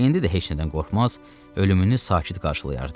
İndi də heç nədən qorxmaz, ölümünü sakit qarşılayardı.